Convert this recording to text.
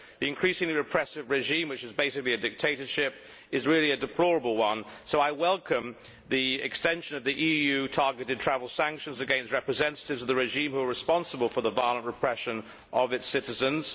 The increasingly repressive regime, which is basically a dictatorship, is really a deplorable one so I welcome the extension of the EU targeted travel sanctions against representatives of the regime who are responsible for the violent repression of its citizens.